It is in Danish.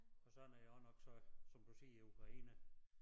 Og sådan er I også nok så som du siger i Ukraine